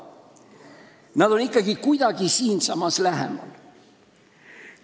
Nad on ikkagi kuidagi siinsamas, lähemal.